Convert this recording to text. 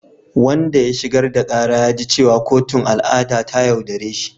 Wanda ya shigar da kara ya ji cewa kotun al’ada ta yaudare shi.